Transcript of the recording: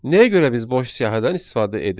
Nəyə görə biz boş siyahıdan istifadə edirik?